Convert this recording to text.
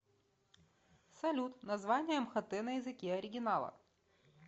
салют название мхт на языке оригинала